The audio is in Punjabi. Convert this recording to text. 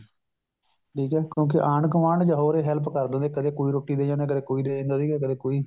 ਠੀਕ ਹੈ ਕਿਉਂਕਿ ਆਂਢ ਗੁਆਂਢ ਜਾਂ ਹੋਰ ਹੀ help ਕਰ ਦਿੰਦੇ ਸੀ ਕਦੇ ਕੋਈ ਰੋਟੀ ਦੇ ਜਾਂਦਾ ਸੀ ਕਦੇ ਕੋਈ ਦੇ ਜਾਂਦਾ ਸੀ ਕਦੇ ਕੋਈ